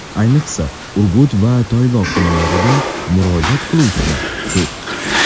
Ayniqsa, Urgut va Toyloq tumanlaridan murojaat qiluvchilar ko‘p.